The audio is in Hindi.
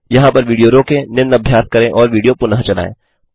यहाँ पर वीडियो रोकें निम्न अभ्यास करें और वीडियो पुनः चलायें